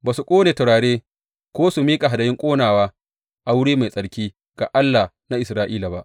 Ba su ƙone turare ko su miƙa hadayun ƙonawa a wuri mai tsarki ga Allah na Isra’ila ba.